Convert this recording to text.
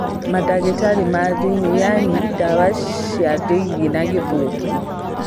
Mandagĩtari ma thĩiniĩ yaani internal medicine na gĩthũngũ